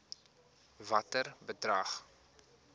watter bedrag